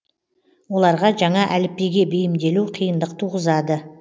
оларға жаңа әліпбиге бейімделу қиындық туғызады